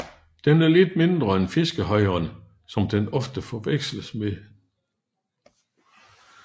Den er lidt mindre end fiskehejren som den ofte forveksles med